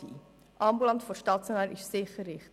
Ambulant vor stationär ist sicher richtig.